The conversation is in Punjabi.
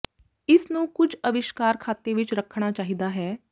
ਇਸ ਨੂੰ ਕੁਝ ਅਵਿਸ਼ਕਾਰ ਖਾਤੇ ਵਿੱਚ ਰੱਖਣਾ ਚਾਹੀਦਾ ਹੈ